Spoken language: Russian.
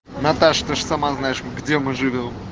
наташка же сама знаешь где мы живём